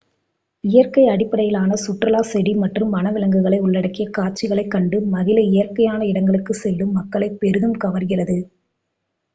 இயற்கை அடிப்படையிலான சுற்றுலா செடி மற்றும் வன விலங்குகளை உள்ளடக்கிய காட்சிகளைக் கண்டு மகிழ இயற்கையான இடங்களுக்குச் செல்லும் மக்களைப் பெரிதும் கவர்கிறது